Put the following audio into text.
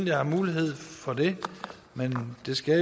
jeg har mulighed for det men det skal